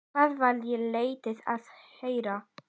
Það var leitt að heyra.